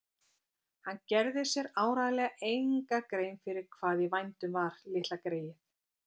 Hann gerði sér áreiðanlega enga grein fyrir hvað í vændum var, litla greyið.